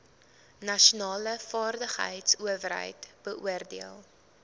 nasionale vaardigheidsowerheid beoordeel